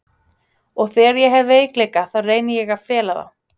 Og þegar ég hef veikleika þá reyni ég að fela þá.